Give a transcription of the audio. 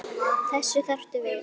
Þessa þarftu við.